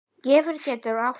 Gefjun getur átt við